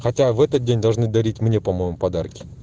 хотя в этот день должны дарить мне по-моему подарки